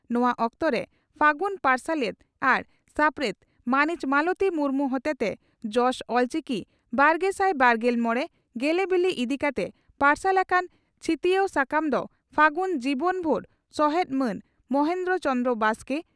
ᱱᱚᱣᱟ ᱚᱠᱛᱚᱨᱮ ᱯᱷᱟᱹᱜᱩᱱ ᱯᱟᱨᱥᱟᱞᱮᱛ ᱟᱨ ᱥᱟᱯᱲᱮᱛ ᱢᱟᱹᱱᱤᱡ ᱢᱟᱞᱚᱛᱤ ᱢᱩᱨᱢᱩ ᱦᱚᱛᱮᱛᱮ 'ᱡᱚᱥ ᱚᱞᱪᱤᱠᱤᱼᱵᱟᱨᱜᱮᱥᱟᱭ ᱵᱟᱨᱜᱮᱞ ᱢᱚᱲᱮ ' ᱜᱮᱞᱮᱵᱤᱞᱤ ᱤᱫᱤ ᱠᱟᱛᱮ ᱯᱟᱨᱥᱟᱞ ᱟᱠᱟᱱ ᱪᱷᱤᱛᱤᱭᱟᱹᱣ ᱥᱟᱠᱟᱢ ᱫᱚ ᱯᱷᱟᱹᱜᱩᱱ ᱡᱡᱤᱵᱚᱱ ᱵᱷᱩᱨ ᱥᱚᱦᱮᱛ ᱢᱟᱱ ᱢᱚᱦᱚᱱ ᱪᱚᱱᱫᱨᱚ ᱵᱟᱥᱠᱮ